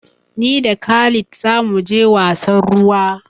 Ni da khalid za mu je wasan ruwa.